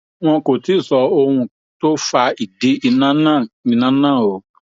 wọn kò tí ì sọ ohun tó fa ìdí iná náà iná náà o